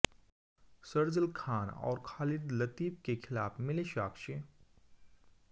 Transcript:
शर्जील खान और खालिद लतीफ के खिलाफ मिले साक्ष्य